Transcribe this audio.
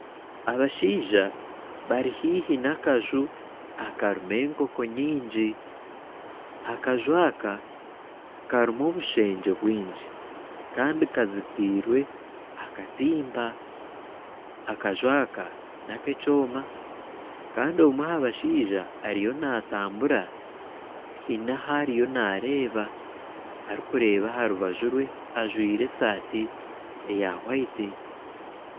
Abashaija bari haihi n'akanju akarimu enkooko nyingi, akanju aka karimu obushengye bwingi kandi kazitirwe akatimba. Akanju aka nak'ekyooma kandi omwe aha bashaija ariyo natambura haine ahariyo nareeba arikureeba aharubaju rwe ajwaire esaati hwayiti